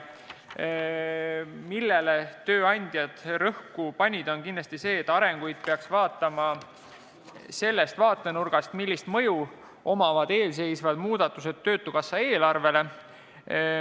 Üks, millele tööandjad rõhku panid, on kindlasti see, et arengut peaks vaatama sellest vaatenurgast, milline mõju on eelseisvatel muudatustel töötukassa eelarvele.